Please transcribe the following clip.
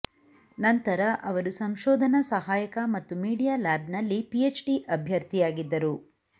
ನಂತರ ಅವರು ಸಂಶೋಧನಾ ಸಹಾಯಕ ಮತ್ತು ಮೀಡಿಯಾ ಲ್ಯಾಬ್ ನಲ್ಲಿ ಪಿಎಚ್ಡಿ ಅಭ್ಯರ್ಥಿಯಾಗಿದ್ದರು